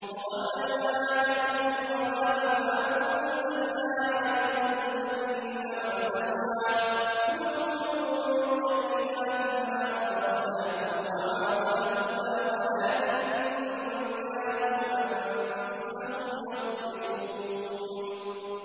وَظَلَّلْنَا عَلَيْكُمُ الْغَمَامَ وَأَنزَلْنَا عَلَيْكُمُ الْمَنَّ وَالسَّلْوَىٰ ۖ كُلُوا مِن طَيِّبَاتِ مَا رَزَقْنَاكُمْ ۖ وَمَا ظَلَمُونَا وَلَٰكِن كَانُوا أَنفُسَهُمْ يَظْلِمُونَ